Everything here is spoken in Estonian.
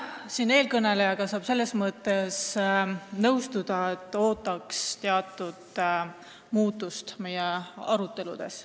Jah, eelkõnelejaga saab selles mõttes nõustuda, et ootaks teatud muutust meie aruteludes.